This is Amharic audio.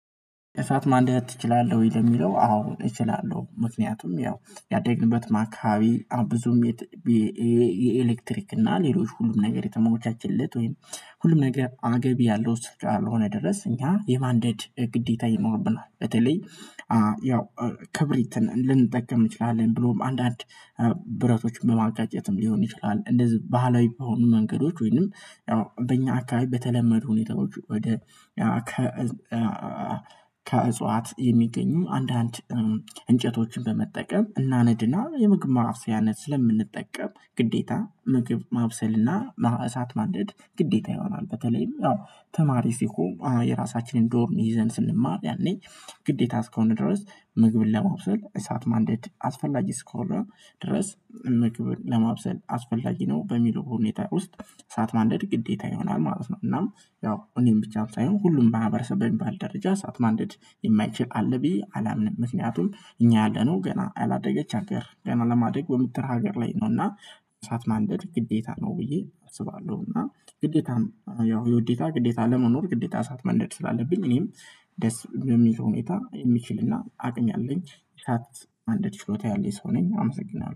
እሳት ማንደድ ትችላለህ? ለሚለው አዎ እችላለሁ ምክንያቱም ያው ያደግንበት አከባቢ ብዙም የት የኤሌክትሪክ እና ሌሎች ሁሉም ነገር የተሞቻቸለት ወይም ሁሉም ነገር አገቢ ያለው ስፍራ ያልሆነ ድረስ እኛ የማንዴድ ግዴታ ይኖርብናል በተለይ ያው ክብሪትን ልንጠቀም እንችላለን ብሎም አንዳንድ ብረቶችን በማጋጨትም ሊሆን ይችላል። እንደዚህ ባህላዊ በሆኑ መንገዶች ወይንም ያው በእኛ አካባቢ በተለመዱ ሁኔታዎች ወደ ያው ከ ከእጽዋት የሚገኙ አንዳንድ እንጨቶችን በመጠቀም እና እናነድና የምግብ ማብሰያነት ስለምንጠቀም ግዴታ ምግብ ማብሰልና እሳት ማደድ ግዴታ ይሆናል። በተለይም ተማሪ ሲሆን የራሳችንን ዶርም ይዘን ስንማር ያኔ ግዴታ እስከሆን ድረስ ምግብን ለመብሰል እሳት ማንደድ አስፈላጊ አሰከሆነ ድረስ ምግብን ለማብሰል አስፈላጊ ነው በሚለው ሁኔታ ውስጥ እሳት ማንደድ ግዴታ ይሆናል ማለት ነው። እና ያው እኔን ብቻም ሳይሆን ሁሉም በማህበረሰብ በሚባል ደረጃ እሳት ማንደድ የማይችል አለብ በዬ አላምንም ምክንያቱም እኛ ያለነው ገና አላደገች አገር ገና ለማደግ በምትል ሀገር ላይ ነውና እሳት ማንደድ ግዴታ ነው ብዬ አስባለሁ። እና ግዴታም ያው የውዴታ ግዴታ ለመኖር ግዴታ እሳት መንደድ ስላለብኝ እኔም ደስ በሚል ሁኔታ የሚችልና አቅም ያለኝ እሳት ማንደድ ችሎታ ያለኝ ሰው ነኝ። አመሰግናለሁ